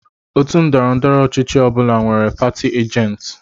Òtù ndọrọndọrọ ọchịchị ọ bụla nwere pati ajenti.